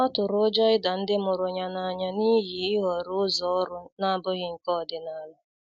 Ọ tụrụ ụjọ ịda ndi mụrụ ya n'anya n'ihi ihọrọ ụzọ ọrụ na-abụghị nke ọdịnala.